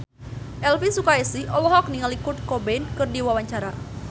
Elvi Sukaesih olohok ningali Kurt Cobain keur diwawancara